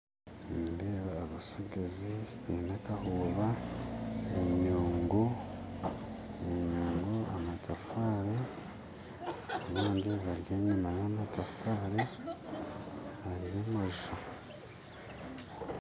Nindeeba abasigazi baine akahooba enyungu enyungu amatafaari abandi bari enyuma y'amatafaari hariho amaju